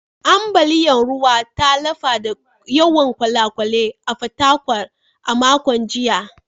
Ambaliyar ruwan ta lafa da yawan kwale-kwale a Fatakwal a makon jiya